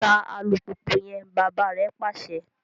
Ta alupupu yẹn! bàbà rè pàṣẹ